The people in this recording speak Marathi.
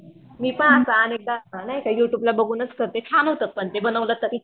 मी पण असं अनेकदा नाय का युट्युबला बघूनच करते छान होतं पण ते बनवलं तरी.